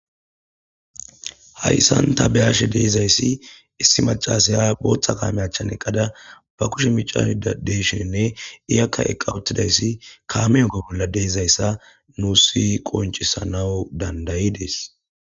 Hayssan ta beyashe deezayssi issi macasaya booththa kaameyachchan eqqada ba kushe micas deshinne iyakka eqqa uttidayssi kaameyokka bolla deezayssa nuusi qoncisanau dandayi des.